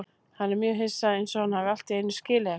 Hann er mjög hissa, einsog hann hafi allt í einu skilið eitthvað.